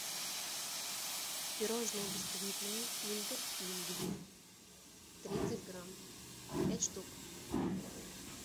пирожное бисквитное киндер пингви тридцать грамм пять штук